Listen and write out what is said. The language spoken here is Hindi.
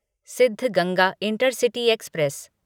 Siddaganga intercity express